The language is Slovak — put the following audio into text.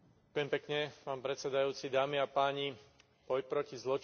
Boj proti zločinu a terorizmu je aktuálna a vážna téma.